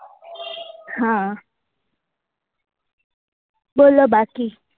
હા બોલો બાકી